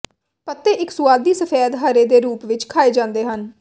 ਪੱਤੇ ਇੱਕ ਸੁਆਦੀ ਸਫੈਦ ਹਰੇ ਦੇ ਰੂਪ ਵਿੱਚ ਖਾਏ ਜਾਂਦੇ ਹਨ